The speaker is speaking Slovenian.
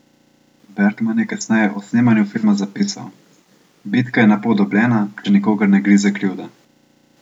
Bergman je kasneje o snemanju filma zapisal: "Bitka je na pol dobljena, če nikogar ne grize krivda.